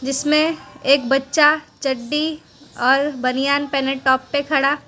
जीसमें एक बच्चा चड्डी और बनियान पहने टॉप पर खड़ा--